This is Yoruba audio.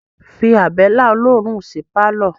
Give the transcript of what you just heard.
Fí abẹ́lẹ́ olóòórún sí pálọ̀